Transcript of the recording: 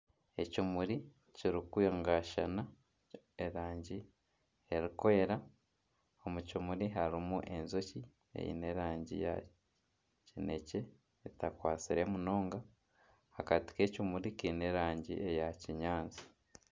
Ekimuri kirikwangashana erangi erikwera omu kimuri harimu enjoki eine erangi ya kinekye etakwatsire munonga. Akati k'ekimuri kaine erangi eya kinyaatsi.